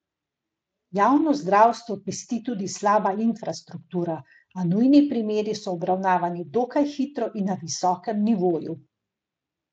Javno zdravstvo pesti tudi slaba infrastruktura, a nujni primeri so obravnavani dokaj hitro in na visokem nivoju.